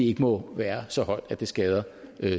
ikke må være så højt at det skader